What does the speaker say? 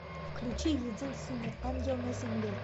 включи единственный ангел на земле